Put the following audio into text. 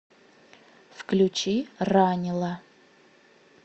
включи ранила